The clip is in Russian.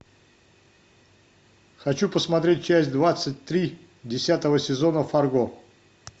хочу посмотреть часть двадцать три десятого сезона фарго